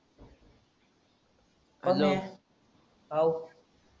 हव